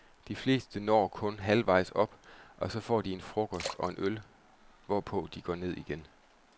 De fleste når kun halvvejs op, og så får de en frokost og en øl, hvorpå de går ned igen.